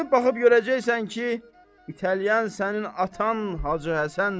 Çönüb baxıb görəcəksən ki, itələyən sənin atan Hacı Həsəndir.